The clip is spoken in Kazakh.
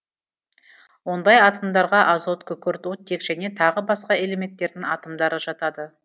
ондай атомдарға азот күкірт оттек және тағы басқа элементтердің атомдары жатады